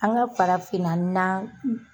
An ka farafinna na